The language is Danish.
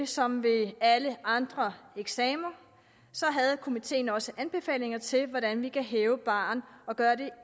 som ved alle andre eksamener havde komiteen selvfølgelig også anbefalinger til hvordan vi kan hæve barren og gøre det